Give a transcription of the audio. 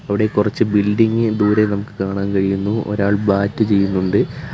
അവിടെ കുറച്ച് ബിൽഡിംഗ് ദൂരെ നമുക്ക് കാണാൻ കഴിയുന്നു ഒരാൾ ബാറ്റ് ചെയ്യുന്നുണ്ട്.